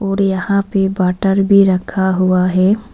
और यहां पे वाटर भी रखा हुआ है।